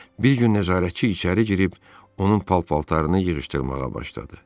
Bir gün nəzarətçi içəri girib, onun pal-paltarını yığışdırmağa başladı.